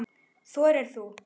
Þorir þú?